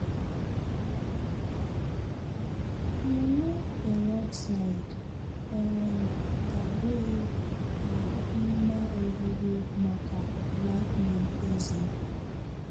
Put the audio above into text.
Nwụrụ peroxide um ga-abụghị à mmà ọgwụgwọ maka whitening ézé.